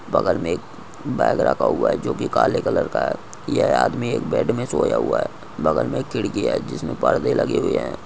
बगल मैं एक बैग रखा हुआ है जो कि काले कलर का है जो की आदमी एक बेड में सोया हुआ है बगल में एक खिड़की है जिसमें परदे लगे हुए है।